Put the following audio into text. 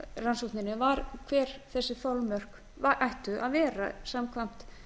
rannsókninni var hver þessi þolmörk ættu að vera samkvæmt